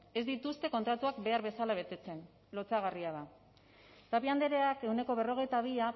ez dituzte kontratuak behar bezala betetzen lotsagarria da tapia andreak ehuneko berrogeita bi